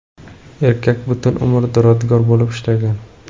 Erkak butun umr duradgor bo‘lib ishlagan.